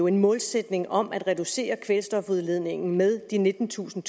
en målsætning om at reducere kvælstofudledningen med de nittentusind